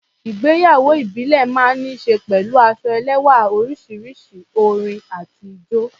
Ìgbéyàwó ìbílẹ̀ máa ń ní ṣe pẹ̀lú aṣọ ẹlẹ́wá̀ oríṣiríṣi, orin àti ijó.